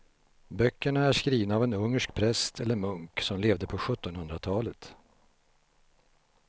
Böckerna är skrivna av en ungersk präst eller munk som levde på sjuttonhundratalet.